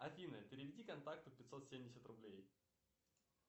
афина переведи контакту пятьсот семьдесят рублей